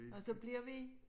Og så bliver vi